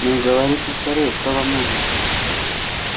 ну говорите скорее что вам нужно